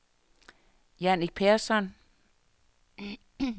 Jannik Persson